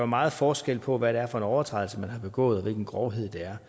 meget forskel på hvad det er for en overtrædelse man har begået og hvilken grovhed der